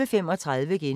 TV 2